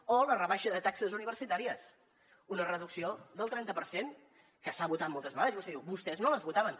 o la rebaixa de taxes universitàries una reducció del trenta per cent que s’ha votat moltes vegades i vostè diu vostès no les votaven